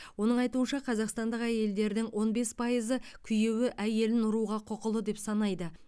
оның айтуынша қазақстандық әйелдердің он бес пайызы күйеуі әйелін ұруға құқылы деп санайды